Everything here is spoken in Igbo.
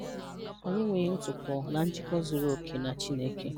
Anyị enweghị ntụpọ na njikọ zuru oke na Chineke.